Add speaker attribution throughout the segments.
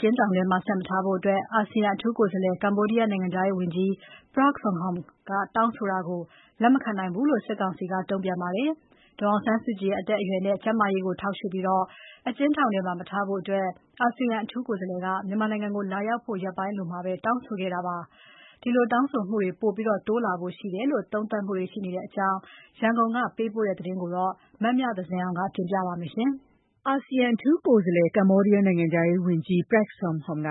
Speaker 1: ကျဉ်းထောင်ထဲမှာမထားဖို့ အာဆီယံအထူးကိုယ်စားလှယ် ကမ္ဘောဒီးယား နိုင်ငံခြား ရေးဝန်ကြီး Prak Sakhonn ရဲ့ တောင်းဆိုမှုကို လက်မခံနိုင်ဘူးလို့ စစ်ကောင်စီက တုံ့ပြန်လိုက်ပါတယ်။ ဒေါ်အောင်ဆန်းစုကြည်ကို နေပြည်တော်အကျဉ်းထောင်မှာထားရှိတဲ့ စစ်ကောင်စီလုပ်ရပ်ကြောင့် နိုင်ငံတကာဖိအား တိုးလာနိုင်ဖွယ် ရှိလာနိုင်တယ်လို့ သုံးသပ်သူတွေက ပြောပါတယ်။ ဒီသတင်းရန်ကုန်က စုစည်းတင်ပြတာကို မမြသဇင်အောင်က တင်ပြပေးထားပါတယ်။ အာဆီယံအထူးကိုယ်စားလှယ် ကမ္ဘောဒီးယား နိုင်ငံခြားရေးဝန်ကြီး Prak Sakhonn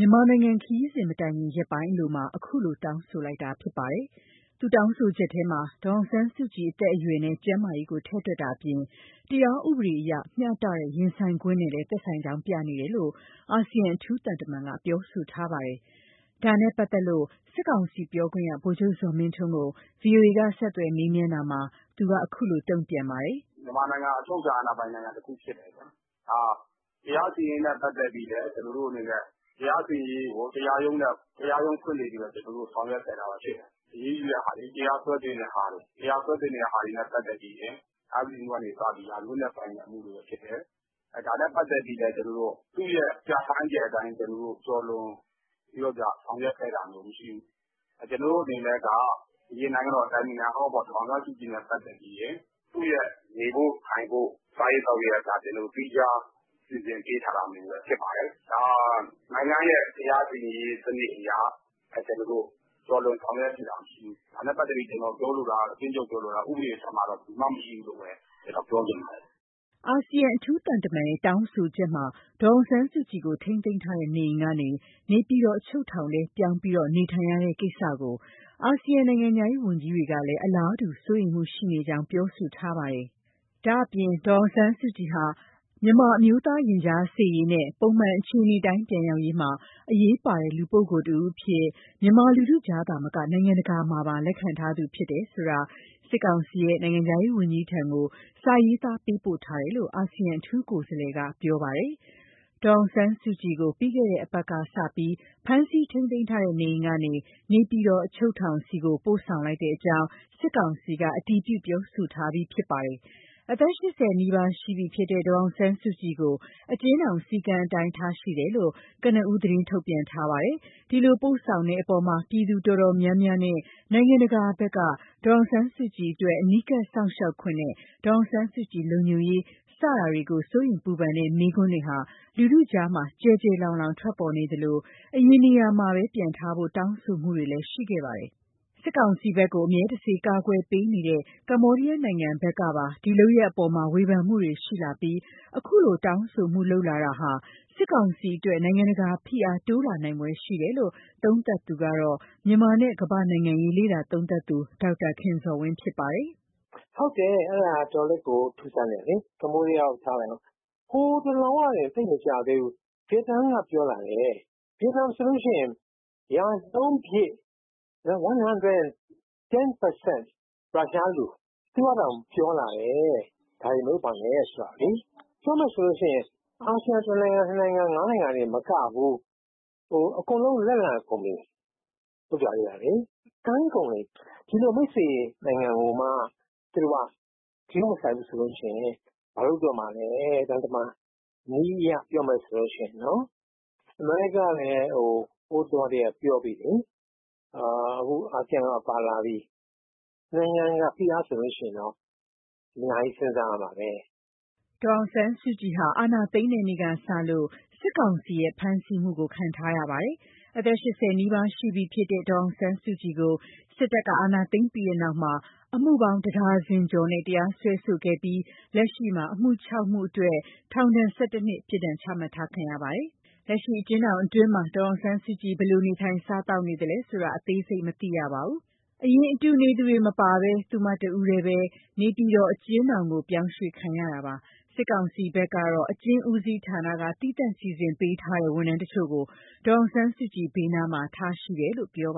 Speaker 1: က မြန်မာနိုင်ငံ ခရီးစဉ်မတိုင်ခင် ရက်ပိုင်းအလိုမှာ အခုလို တောင်းဆိုလိုက်တာဖြစ်ပါတယ်။ သူ့တောင်းဆိုချက်ထဲမှာ ဒေါ်အောင်ဆန်းစုကြည် အသက်အရွယ်နဲ့ ကျန်းမာရေးကို ထည့်တွက်တာအပြင် တရားဥပဒေအရ မျှတတဲ့ ရင်ဆိုင်ခွင့်နဲ့လည်း သက်ဆိုင်ကြောင်းပြနေတယ်လို့ အာဆီယံ အထူးသံတမန်က ပြောဆိုထားပါတယ်။ ဒါနဲ့ပတ်သက်လို့ စစ်ကောင်စီပြောခွင့်ရ ဗိုလ်ချုပ်ဇော်မင်းထွန်းကို ဗွီအိုအေက ဆက်သွယ် မေးမြန်းတာမှာတော့ သူက ခုလိုတုံ့ပြန်ပါတယ်။ “မြန်မာ
Speaker 2: နိုင်ငံဟာ အချုပ်အခြာပိုင်တဲ့နိုင်ငံဖြစ်တယ်။ တရားစီရင်ရေးနဲ့ပတ်သက်ပြီးလည်း ကျနော်တို့အနေနဲ့ တရားရုံးဖွင့်လှစ် ဆောင်ရွက်ခဲ့တာ ဖြစ်တယ်။ အရေးယူတဲ့ဟာတွေ၊ တရားစွဲတင်တာတွေ၊ တရားစွဲတင်တဲ့ဟာတွေမှာဆိုရင် အဂတိအမှုကနေစရင် ရာဇဝတ်နဲ့ဆိုင်တဲ့ အမှုတွေဖြစ်တယ်။ ဒါနဲ့ပတ်သက်လို့ သူ့ရဲ့ပြဌာန်းချက်တွေကို ကျော်လွန်ဆောင်ရွက်ခဲ့တာ မရှိဘူး။ ကျနော်တို့အနေနဲ့က အရင် နိုင်ငံတော်အတိုင်ပင်ခံ ဒေါ်အောင်ဆန်းစုကြည်နဲ့ပတ်သက်ပြီးရင် သူရဲ့နေဖို့ ထိုင်ဖို့၊ စားရေး သောက်ရေးကအစ သီးခြား စီစဉ်ပေးထားတာမျိုးပဲ ဖြစ်ပါတယ်။ နိုင်ငံရဲ့တရားစီရင်ရေးအရ ကျော်လွန် ဆောင်ရွက်ခဲ့တာမရှိဘူး။ ဒါနဲ့ပတ်သက်လို့ ကျနော် ပြောလိုတာကတော့ ဥပဒေအထက်မှာ ဘယ်သူမှ မရှိဘူးပြောခ
Speaker 1: ျင်ပါတယ်။” အာဆီယံအထူးသံတမန်ရဲ့ တောင်းဆိုချက်မှာ ဒေါ်အောင်ဆန်းစုကြည်ကို ထိန်းသိမ်းထားတဲ့ နေအိမ်ကနေ နေပြည်တော် အချုပ်ထောင်ထဲ ပြောင်းလဲ နေထိုင်နေရတဲ့ကိစ္စကို အာဆီယံနိုင်ငံခြား ရေးဝန်ကြီးတွေကလည်း အလားတူ စိုးရိမ်မှုရှိနေကြောင်း ပြောဆိုထားပါတယ်။ ဒါ့အပြင် ဒေါ်အောင်ဆန်းစုကြည်ဟာ မြန်မာ့အမျိုးသားရင်ကြားစေ့ရေးနဲ့ ပုံမှန်အခြေအနေအတိုင်း ပြန်ရောက်ရေးမှာ အရေးပါတဲ့ လူပုဂ္ဂိုလ်တစ်ဦးအဖြစ် မြန်မာလူထုကြားသာမက နိုင်ငံတကာမှာပါ လက်ခံထားသူ ဖြစ်တယ်ဆိုတာကိုလည်း စစ်ကောင်စီရဲ့ နိုင်ငံခြားရေးဝန်ကြီးထံ စာရေး သားပေးပို့ထားတယ်လို့လည်း အာဆီယံ အထူးကိုယ်စားလှယ်က ပြောပါတယ်။ ဒေါ်အောင်ဆန်းစုကြည်ကို ပြီးခဲ့တဲ့ အပတ်ကနေစတင်ပြီး ဖမ်းဆီး ထိန်းသိမ်းထားတဲ့နေအိမ်ကနေ နေပြည်တော် အချုပ်ထောင်ဆီ ပို့ဆောင်လိုက်ကြောင်း စစ်ကောင်စီက အတည်ပြု ပြောဆိုထားပြီး ဖြစ်ပါတယ်။ အသက် ၈၀ နီးပါးရှိနေပြီဖြစ်တဲ့ ဒေါ်အောင်ဆန်းစုကြည်ကို အကျဉ်းထောင် စည်းကမ်းတွေအတိုင်း ထားရှိတယ်လို့ ကနဦး သတင်းထုတ်ပြန်ထားပါတယ်။ ဒီလိုပို့ဆောင်တဲ့အပေါ် ပြည်သူတော်တော်များများနဲ့ နိုင်ငံတကာတွေဘက်က ဒေါ်အောင်ဆန်းစုကြည်အတွက် အနီးကပ်စောင့်ရှောက်ခွင့်နဲ့ ဒေါ်အောင်ဆန်းစုကြည် လုံခြုံရေး စတာတွေအတွက် စိုးရိမ်ပူပန်တဲ့ မေးခွန်းတွေဟာ လူထုကြား ကျယ်ကျယ် လောင် လောင်ထွက်ပေါ်နေသလို အရင်နေရာမှာပဲ ပြန်ထားဖို့ တောင်းဆိုမှုတွေ ရှိနေခဲ့ပါတယ်။ စစ်ကောင်စီဘက်ကို အမြဲတစေ ကာကွယ်ပေးနေတဲ့ ကမ္ဘေားဒီးယားနိုင်ငံဘက်ကပါ ဒီလုပ်ရပ်အပေါ် ဝေဖန်မှုတွေရှိလာပြီး အခုလို တောင်းဆိုမှုတွေလုပ်လာတာက စစ်ကောင်စီအတွက် နိုင်ငံတကာဖိအား တိုးလာနိုင်ဖွယ် ရှိတယ်လို့ သုံးသပ်လိုက် သူကတော့ မြန်မာနဲ့ ကမ္ဘာနိုင်ငံရေးလေ့လာသုံးသပ်သူ ဒေါက်တာခင်ဇော်ဝင်းပါ။ “
Speaker 3: အဲဒါတော်တော်လေးကိုထူးဆန်းတယ်။ ကမ္ဘောဒီးယား ခနထားဦး။ တလောတုန်းက ဗီယက်နမ်ကပါ ပြောလာတယ်။ ဗီယက်နမ်ဆိုတာ ရာနှုန်းပြည့် ရုရှားလူ။ သူကတောင် ဒါတွေမလုပ်ဖို့ပြောလာတယ်။ ပြောမယ်ဆို အာဆီယံ နိုင်ငံတင်မကဘူး။ အကုန်လက်လန်ကုန်ပြီ။ ကမ်းကုန်နေပြီ။ ဒီလို မိတ်ဆွေနိုင်ငံကိုမှ ဂရုမစိုက် ရင် သံတမန်နည်းအရဆိုတာ ဘာလုပ်တော့မှာလဲ။ အမေရိကားလည်း တလောတုန်းကပြောလာပြီ။ အခု အာဆီယံပါပါလာပြီ။ နိုင်ငံတကာဖိအားဆိုတာ အများကြီးစဉ်းစားရမှာပဲ
Speaker 1: ။” ဒေါ်အောင်ဆန်းစုကြည်ဟာ အာဏာသိမ်းတဲ့နေ့ကစလို့ စစ်ကောင်စီရဲ့ဖမ်းဆီးမှုကိုခံထားရပါတယ်။ အသက် ၈၀ နီးပါရှိပြီဖြစ်တဲ့ ဒေါ်အောင်ဆန်းစုကြည်ကို စစ်တပ်က အာဏာသိမ်းပြီး နောက် အမှုပေါင်း တဒါဇင်ကျော်နဲ့ တရားစွဲဆိုခဲ့ကာလက်ရှိမှာ အမှု ၆ မှုအတွက် ထောင်ဒဏ် ၁၁ နှစ် ပြစ်ဒဏ် ချမှတ်ခံထားရပါတယ်။ လက်ရှိအကျဉ်းထောင်အတွင်း ဒေါ်အောင်ဆန်းစုကြည် ဘယ်လိုနေထိုင် စားသောက်နေရသလဲဆိုတာကို အသေးစိတ်မသိရပါဘူး။ အရင်အတူနေသူတွေ မပါဘဲ သူမတဦးထဲသာ နေပြည်တော်အကျဉ်း ထောင်ကိုပြောင်းရွှေ့ခံရတာပါ။ စစ်ကောင်စီဘက်ကတော့ အကျဉ်းဦးစီးဌာနက သီးသန့် စီစဉ်ပေးထားတဲ့ ဝန်ထမ်းအချို့ ကို ဒေါ်အောင်ဆန်းစုကြည်ဘေးနားမှာ ထားရှိထားတယ်လို့ ပြောပါ